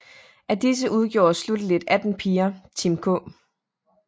Af disse udgjorde slutteligt 18 piger Team K